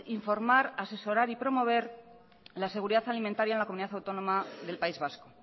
informar asesorar y promover la seguridad alimentaria en la comunidad autónoma del país vasco